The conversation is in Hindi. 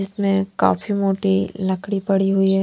इसमें काफी मोटी लकड़ी पड़ी हुई--